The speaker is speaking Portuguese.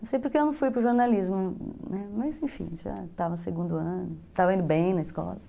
Não sei porque eu não fui para o jornalismo, mas enfim, já estava no segundo ano, estava indo bem na escola.